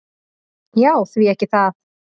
"""Já, því ekki það."""